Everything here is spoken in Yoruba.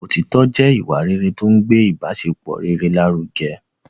Òtitọ́ jẹ́ ìwà rere tó ń gbé ibasepọ rere lárugẹ